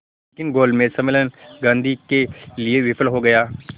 लेकिन गोलमेज सम्मेलन गांधी के लिए विफल हो गया